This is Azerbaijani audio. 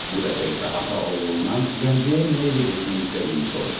Bu dəfə isə ata oğlundan Gəncəyə nə ilə getmək istədiyini soruşdu.